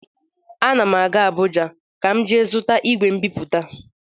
Ana m aga Abụja ka m jee zụta igwe mbipute.